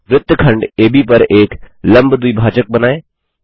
वृत्तखंड एबी पर एक लम्ब द्विभाजक बनाएँ